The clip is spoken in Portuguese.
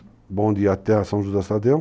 O bonde ia até a São José do Estadão,